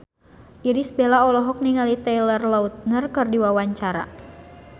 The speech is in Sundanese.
Irish Bella olohok ningali Taylor Lautner keur diwawancara